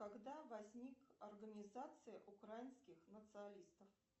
когда возник организация украинских националистов